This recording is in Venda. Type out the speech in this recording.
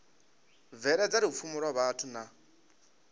bveledza lupfumo lwa vhathu na